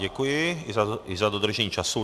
Děkuji i za dodržení času.